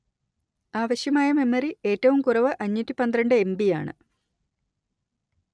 ആവശ്യമായ മെമ്മറി ഏറ്റവും കുറവ് അഞ്ഞൂറ്റി പന്ത്രണ്ട് എം_letter ബി_letter യാണ്